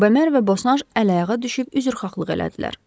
Bemer və Bosanş əl-ayağa düşüb üzrxahlıq etdilər.